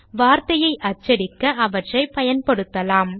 வார்த்தையை அச்சடிக்க அவற்றை பயன்படுத்தலாம்